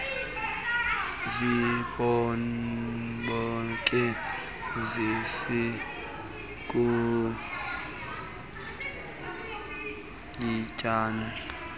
zibhoke isicuku yityani